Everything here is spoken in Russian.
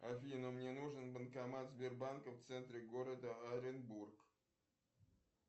афина мне нужен банкомат сбербанка в центре города оренбург